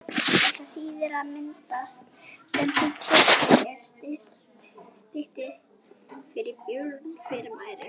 Þetta þýðir að myndin sem þú tekur er stillt fyrir björt fyrirbæri.